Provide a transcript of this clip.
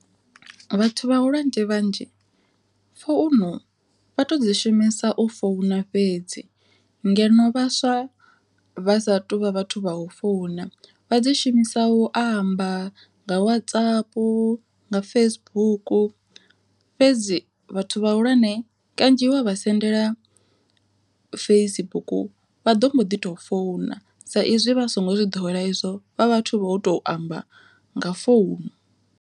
Vhathu vhahulwane vhanzhi founu vha tou dzi shumisa u founa fhedzi, ngeno vhaswa vha sa tu vha vhathu vha u founa vha dzi shumisa u amba nga WhatsApp nga Facebook fhedzi vhathu vhahulwane kanzhi wa vha sendela Facebook vha ḓo mbo ḓi to founu, sa izwi vha songo zwi ḓowela izwo vha vhathu vho to amba nga founu.